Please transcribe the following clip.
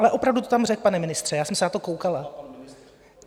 Ale opravdu to tam řekl, pane ministře, já jsem se na to koukala.